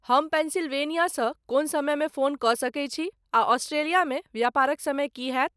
हम पेंसिल्वेनियासँ कोन समयमे फोन कऽ सकैत छी आ ऑस्ट्रेलियामे व्यापारक समय की होयत?